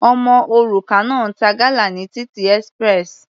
Ọmọ òrukàn náà ń ta gala ní títì express.